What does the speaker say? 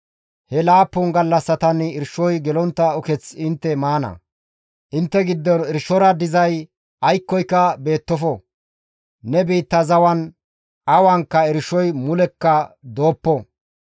He laappun gallassatan irshoy gelontta uketh intte maana; intte giddon irshora dizay aykkoyka beettofo; ne biitta zawan awankka irshoy mulekka dooppo.